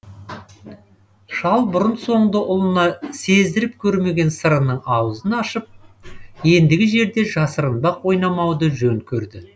шал бұрын соңды ұлына сездіріп көрмеген сырының аузын ашып ендігі жерде жасырынбақ ойнамауды жөн көрді